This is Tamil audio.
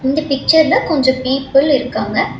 இந்த பிக்சர்ல கொஞ்சோ பீப்பிள் இருக்காங்க.